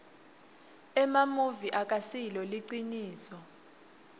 emamuvi akasilo liciniso